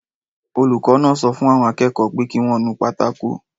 Olùkọ́ náà sọ fún àwọn akẹ́kọ̀ọ́ pé kí wọ́n nu pátákó